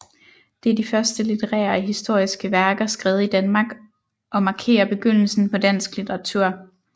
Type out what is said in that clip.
Det er de første litterære og historiske værker skrevet i Danmark og markerer begyndelsen på dansk litteratur